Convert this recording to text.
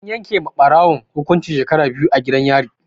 An yake wa Ɓarawon hukuncin shekaru biyu gidan yari